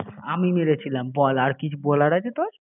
আমি মেরেছিলাম বল আর কিছু বলার আছে তোর